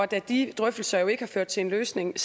da de drøftelser jo ikke har ført til en løsning